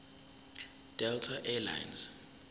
delta air lines